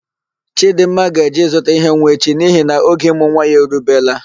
Chidịmma ga-eje ịzụta ihe nwa echi nihi na oge ịmụ nwa ya erubela.